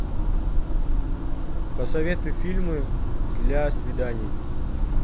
посоветуй фильмы для свиданий